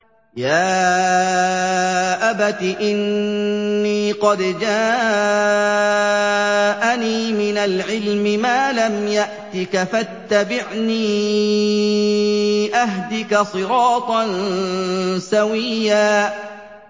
يَا أَبَتِ إِنِّي قَدْ جَاءَنِي مِنَ الْعِلْمِ مَا لَمْ يَأْتِكَ فَاتَّبِعْنِي أَهْدِكَ صِرَاطًا سَوِيًّا